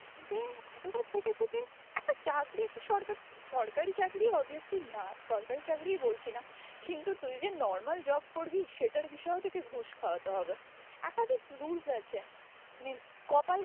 যে এতটা খেটে খুটে একটা চাকরি একটা সরকার, সরকারি চাকরি obviously না সরকারি চাকরি বলছি না কিন্তু তুই যে normal job করবি সেটার বিষয়েও তোকে ঘুষ খাওয়াতে হবে, একাধিক rules আছে কপাল